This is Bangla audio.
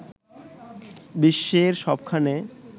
বিশ্বের সবখানে